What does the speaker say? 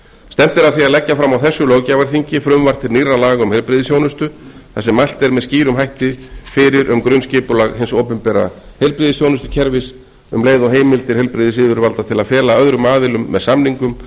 stefnt er að því að leggja fram á þessu löggjafarþingi frumvarp til nýrra laga um heilbrigðisþjónustu þar sem mælt er með skýrum hætti fyrir um grunnskipulag hins opinbera heilbrigðisþjónustukerfis um leið og heimildir heilbrigðisyfirvalda til að fela öðrum aðilum með samningum